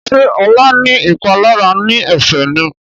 Ṣe Ola ní ìpalára ní Ẹsẹ̀ ní?